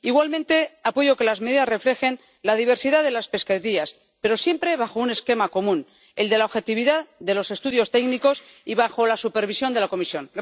Igualmente apoyo que las medidas reflejen la diversidad de las pesquerías, pero siempre bajo un esquema común, el de la objetividad de los estudios técnicos y bajo la supervisión de la Comisión.